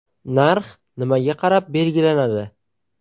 Narx nimaga qarab belgilanadi?